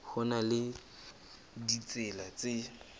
ho na le ditsela tse